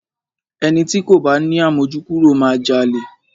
Ẹni ti kò bá ni àmójúkúrò máa jalè.